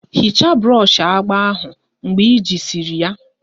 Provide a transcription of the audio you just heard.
Hichaa brọshi agba ahụ mgbe ejisiri ya!